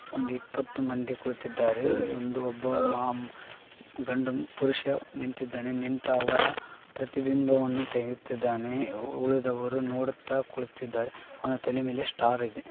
ಒಂದು ಇಪ್ಪತ್ತು ಮಂದಿ ಕುಳಿತ್ತಿದ್ದಾರೆ. ಇಲ್ಲಿ ಒಬ್ಬ ಗಂಡು ಪುರುಷ ನಿಂತಿದ್ದಾನೆ. ನಿಂತಿರುವವರ ಪ್ರತಿಬಿಂಬವನ್ನು ತೆಗೆಯುತ್ತಿದ್ದಾನೆ ಉಳಿದವರು ನೋಡುತ್ತಾ ಕುಳಿತ್ತಿದ್ದಾರೆ. ಅವನ ತಲೆ ಮೇಲೆ ಸ್ಟಾರ್‌ ಅಯಿತೇ.